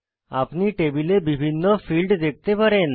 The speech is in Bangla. আপনি টেবিলে বিভিন্ন ফীল্ড দেখতে পারেন